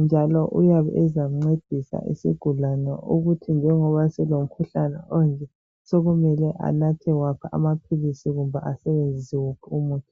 njalo uyabe ezakuncedisa isigulane ukuthi njengoba sengilomkhuhlane onje sokumele anathe waphi amaphilisi kumbe asebenzise wuphi umuthi.